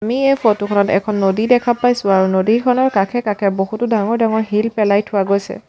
আমি এই ফটো খনত এখন নদী দেখা পাইছোঁ আৰু নদীখনৰ কাষে কাষে বহুতো ডাঙৰ ডাঙৰ শিল পেলাই থোৱা গৈছে।